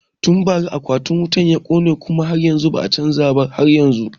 Tun bara akwatin wutan ya kone kuma ba a chanza ba har yanzun